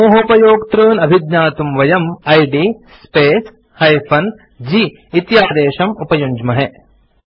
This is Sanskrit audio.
समूहोपयोक्तॄन् अभिज्ञातुं वयम् इद् स्पेस् - g इति आदेशं उपयुञ्ज्महे